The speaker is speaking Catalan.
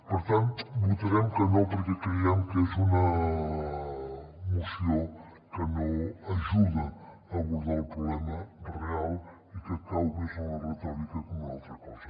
per tant votarem que no perquè creiem que és una moció que no ajuda a abordar el problema real i que cau més en la retòrica que en una altra cosa